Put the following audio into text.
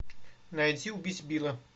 найти убить билла